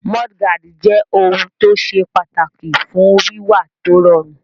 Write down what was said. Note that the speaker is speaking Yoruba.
Múdúgáàdì jẹ́ ohun tó ṣe pàtàkì fún wíwà tó rọrùn